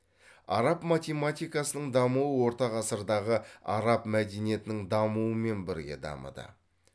араб математикасының дамуы орта ғасырдағы араб мәдениетінің дамуымен бірге дамыды